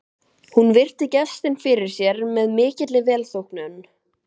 Hún virti gestinn fyrir sér með mikilli velþóknun.